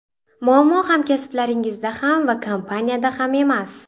Muammo hamkasblaringizda ham va kompaniyada ham emas.